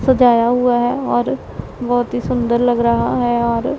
सजाया हुआ है और बहोत ही सुंदर लग रहा है और--